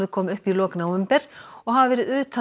kom upp í lok nóvember og hafa verið utan